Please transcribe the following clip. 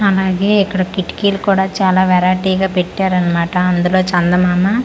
అలాగే ఇక్కడ కిటికీలు కూడా చాలా వెరైటీ గా పెట్టారు అన్నమాట అందులో చందమామ .]